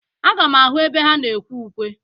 Aga m ahụ ebe ha na-ekwe ụkwe.